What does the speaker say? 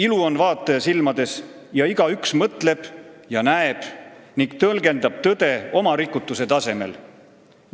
Ilu on vaataja silmades ja igaüks mõtleb ja näeb ning tõlgendab tõde oma rikutuse tasemel.